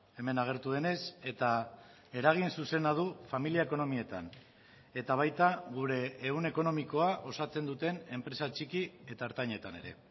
hemen agertu denez eta eragin zuzena du familia ekonomietan eta baita gure ehun ekonomikoa osatzen duten enpresa txiki eta ertainetan ere